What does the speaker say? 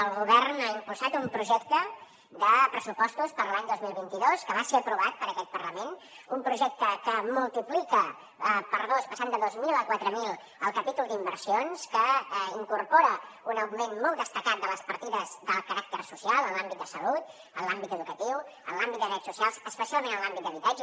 el govern ha impulsat un projecte de pressupostos per a l’any dos mil vint dos que va ser aprovat per aquest parlament un projecte que multipli ca per dos passant de dos mil a quatre mil el capítol d’inversions que incorpora un augment molt destacat de les partides de caràcter social en l’àmbit de salut en l’àmbit educatiu en l’àmbit de drets socials especialment en l’àmbit d’habitatge